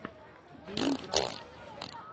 гейм грампс